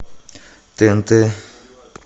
тнт